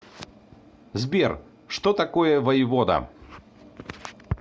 сбер что такое воевода